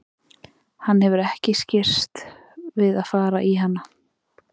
Hann hefur ekki skirrst við að fara í hana.